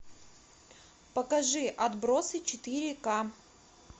покажи отбросы четыре ка